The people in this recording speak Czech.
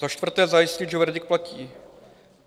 Za čtvrté, zajistit, že verdikt platí.